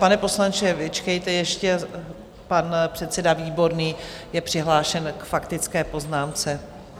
Pane poslanče, vyčkejte ještě, pan předseda Výborný je přihlášen k faktické poznámce.